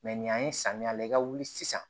Mɛ nin y'an ye samiya la i ka wuli sisan